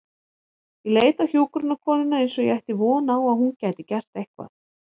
Ég leit á hjúkrunarkonuna eins og ég ætti von á að hún gæti gert eitthvað.